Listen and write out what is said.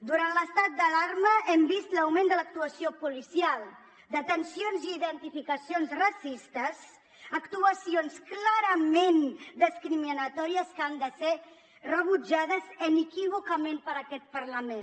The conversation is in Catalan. durant l’estat d’alarma hem vist l’augment de l’actuació policial detencions i identificacions racistes actuacions clarament discriminatòries que han de ser rebutjades inequívocament per aquest parlament